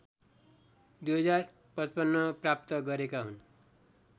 २०५५ प्राप्त गरेका हुन्